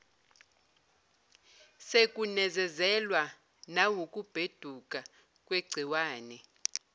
sekunezezelwa nawukubheduka kwegciwane